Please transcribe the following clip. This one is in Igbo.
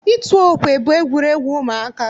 Ịtụ okwe bụ egwuregwu ụmụaka.